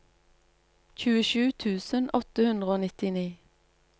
tjuesju tusen åtte hundre og nittini